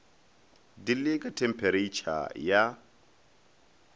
di le ka thempheretšha ya